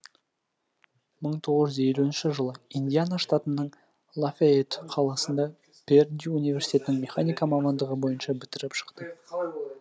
мың тоғыз жүз елуінші жылы индиана штатының лафейетт қаласында пердью университетінің механика мамандығы бойынша бітіріп шықты